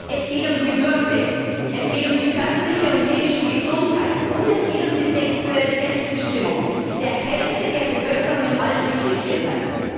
Es geht um die Würde, es geht um die körperliche und seelische Gesundheit, und es geht um die sexuelle Selbstbestimmung der Hälfte der Bevölkerung in allen Mitgliedstaaten.